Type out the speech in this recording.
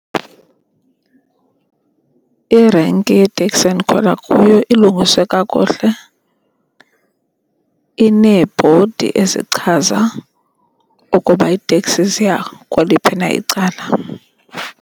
Irenki yeeteksi endikhwela kuyo ilungiswe kakuhle. Ineebhodi ezichaza ukuba iteksi ziya kweliphi na icala.